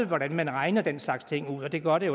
hvordan man regner den slags ting ud og det gør det